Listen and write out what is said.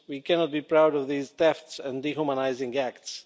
We cannot be proud of these thefts and dehumanising acts.